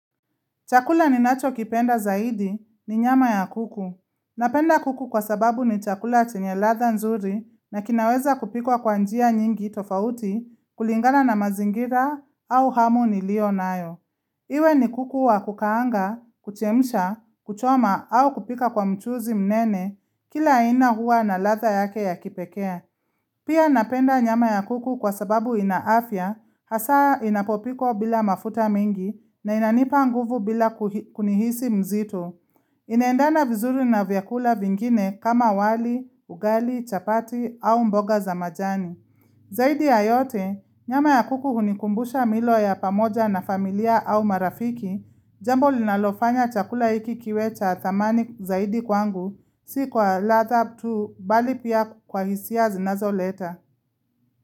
Chakula ninacho kipenda zaidi ni nyama ya kuku. Napenda kuku kwa sababu ni chakula chenye ladha nzuri na kinaweza kupikwa kwa njia nyingi tofauti kulingana na mazingira au hamu niliyo nayo. Iwe ni kuku wa kukaanga, kuchemsha, kuchoma au kupika kwa mchuzi mnene, kila aina huwa na ladha yake ya kipekee. Pia napenda nyama ya kuku kwa sababu ina afya, hasa inapopikwa bila mafuta mingi na inanipa nguvu bila kuji, kujihisi mzito. Inaendana vizuri na vyakula vingine kama wali, ugali, chapati au mboga za majani. Zaidi ya yote, nyama ya kuku hunikumbusha milo ya pamoja na familia au marafiki, jambo linalofanya chakula hiki kiwe cha thamani zaidi kwangu, si kwa latha tu, bali pia kwa hisia zinazo leta.